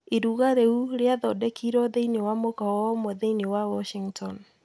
Iruga riu rĩathondekirũo thĩinĩ wa mũkawa ũmwe thĩinĩ wa Washington.